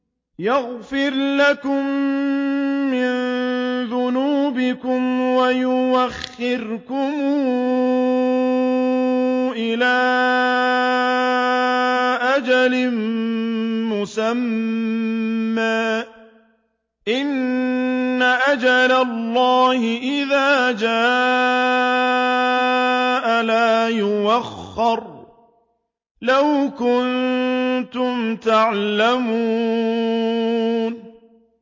يَغْفِرْ لَكُم مِّن ذُنُوبِكُمْ وَيُؤَخِّرْكُمْ إِلَىٰ أَجَلٍ مُّسَمًّى ۚ إِنَّ أَجَلَ اللَّهِ إِذَا جَاءَ لَا يُؤَخَّرُ ۖ لَوْ كُنتُمْ تَعْلَمُونَ